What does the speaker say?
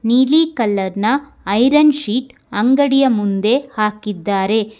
ನೀಲಿ ಕಲರ್ ನ iron sheet ಅಂಗಡಿಯ ಮುಂದೆ ಹಾಕಿದ್ದಾರೆ.